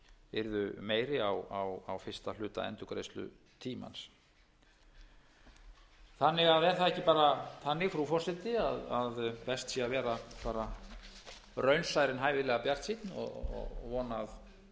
yrðu meiri á fyrsta hluta endurgreiðslutímans er það ekki bara þannig frú forseti að best sé að vera raunsær en hæfilega bjartsýnn og vona að við eigum þess kost að